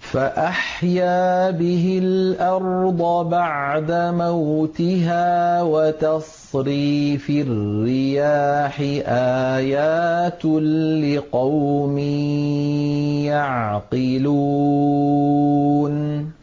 فَأَحْيَا بِهِ الْأَرْضَ بَعْدَ مَوْتِهَا وَتَصْرِيفِ الرِّيَاحِ آيَاتٌ لِّقَوْمٍ يَعْقِلُونَ